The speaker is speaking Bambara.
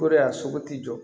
O de y'a so ti jɔ